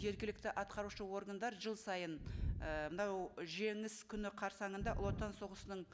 жергілікті атқарушы органдар жыл сайын і мынау жеңіс күні қарсанында ұлы отан соғысының